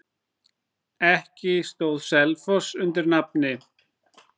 Ekki stóð Selfoss undir nafni.